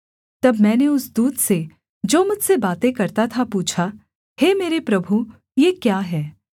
तब मैंने उस दूत से जो मुझसे बातें करता था पूछा हे मेरे प्रभु ये क्या हैं